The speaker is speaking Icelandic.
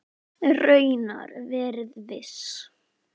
Raunar verið viss.